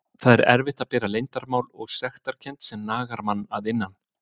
Það er erfitt að bera leyndarmál og sektarkennd sem nagar mann að innan.